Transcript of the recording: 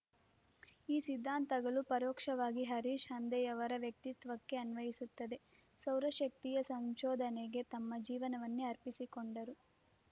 ಈ ಸಿದ್ಧಾಂತಗಳು ಪರೋಕ್ಷವಾಗಿ ಹರೀಶ್‌ ಹಂದೆಯವರ ವ್ಯಕ್ತಿತ್ವಕ್ಕೆ ಅನ್ವಯಿಸುತ್ತದೆ ಸೌರಶಕ್ತಿಯ ಸಂಶೋಧನೆಗೆ ತಮ್ಮ ಜೀವನವನ್ನೇ ಅರ್ಪಿಸಿಕೊಂಡರು